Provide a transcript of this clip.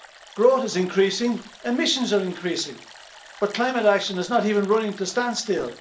Growth is increasing, emissions are increasing, but climate action is not even running at a standstill.